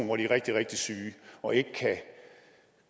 hvor de er rigtig rigtig syge og ikke kan